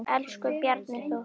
Elsku Bjarni Þór.